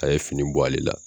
A ye fini bɔ ale la.